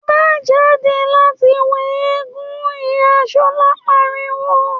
‘Má jáde láti wo eégún!’, ìyá S̩o̩lá pariwo